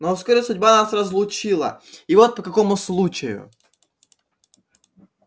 но вскоре судьба нас разлучила и вот по какому случаю